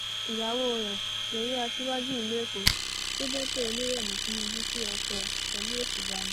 ìyàwó rẹ yẹyẹ aṣíwájú ìlú èkó sébétò olúrẹmi tìǹbù kí ọkọ ẹ pẹlú òṣùbà ni